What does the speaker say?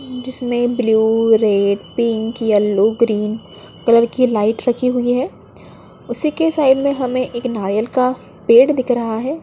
जिसमें blue red pink yellow green colour की light रखी हुई है उसी के साइड में हमे एक नारियल का पेड़ दिख रहा है।